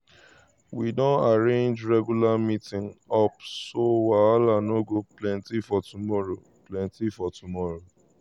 we gree say make we chook eye no be say we go dey fight for who dey right.